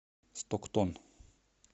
стоктон